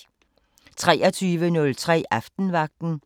23:03: Aftenvagten